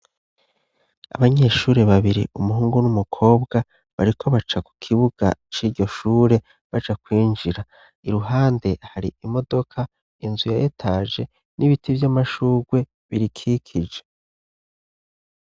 Abanyeshuri babiri umuhungu n'umukobwa bariko baca ku kibuga c'iryoshure baja kwinjira iruhande hari imodoka inzu yayetaje n'ibiti vyo amashurwe birikikije.